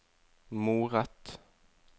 moret